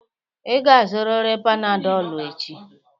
Ị ga-azụrịrị Panadolụ echi!